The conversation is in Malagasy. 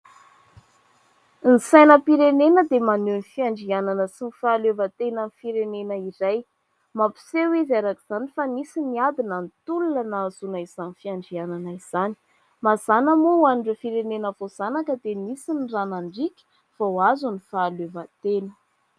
Ny sainam-pirenena dia maneho ny fiandrianana sy ny fahaleovantenan'ny firenena iray. Mampiseho izy araka izany fa nisy ny ady na ny tolona nahazoana izany fiandrianana izany. Mazàna moa ho an'ireo firenena voazanaka dia nisy ny rà nandriaka vao azo ny fahaleovantena.